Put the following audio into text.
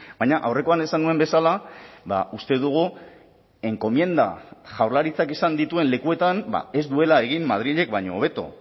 baina aurrekoan esan nuen bezala uste dugu enkomienda jaurlaritzak izan dituen lekuetan ez duela egin madrilek baino hobeto